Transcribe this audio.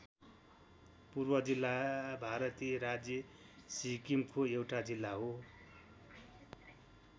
पूर्व जिल्ला भारतीय राज्य सिक्किमको एउटा जिल्ला हो।